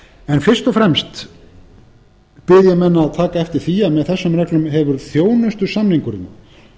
en fyrst og fremst bið ég menn að taka eftir því að með þessum reglum hefur þjónustusamningurinn